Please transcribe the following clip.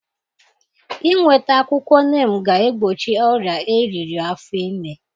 Inweta akwụkwọ neem ga-egbochi ọrịa eriri afọ ime.